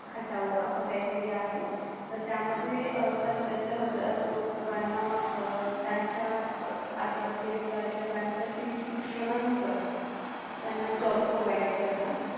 हटाव असं काही तरी आहे तर त्यामध्ये पंचाहत्तर एक हजार लोकांना त्यांच्या पात्रतेनुसार किंवा त्यांच्या शिक्षणानुसार त्यांना जॉब PROVIDE करणार.